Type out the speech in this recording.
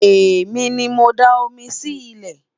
èmi ní mọ dá omi Si ile